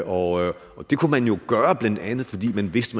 og det kunne man jo gøre blandt andet fordi man vidste